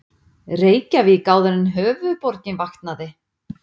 Reykjavík áður en höfuðborgin vaknaði.